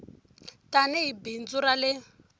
tani hi bindzu ra le